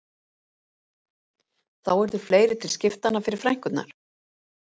Þá yrðu fleiri til skiptanna fyrir frænkurnar